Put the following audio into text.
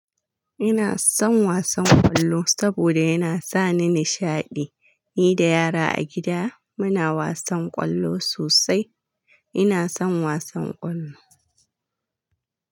Ina son wasan ƙwallo saboda yana sa ni nishaɗi. Ni da yara a gida muna wasan ƙwallo sosai. Ina son wasan ƙwallo.